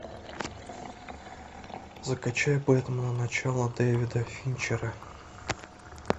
закачай бэтмен начало дэвида финчер